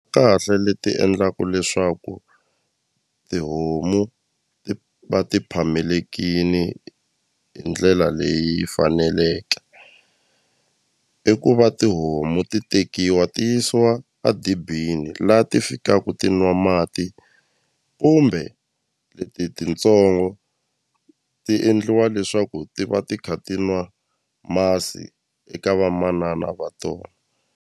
Kahle leti endlaku leswaku tihomu ti va ti phamelekini hi ndlela leyi faneleke i ku va tihomu ti tekiwa ti yisiwa a dibini la ti fikaku ti nwa mati kumbe leti tintsongo ti endliwa leswaku ti va ti kha ti nwa masi eka vamanana va tona.